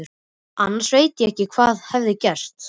Annars veit hún ekki hvað hefði gerst.